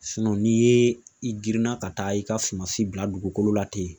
n'i ye i girinna ka taa i ka suma si bila dugukolo la ten